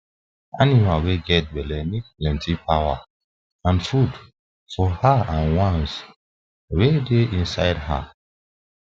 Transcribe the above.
animal wa get belle need plenty power and food for her and ones wa da inside her